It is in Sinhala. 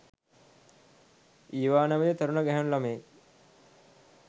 ඊවා නැමති තරුණ ගැහැනු ලමයෙක්